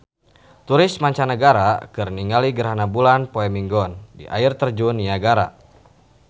Turis mancanagara keur ningali gerhana bulan poe Minggon di Air Terjun Niagara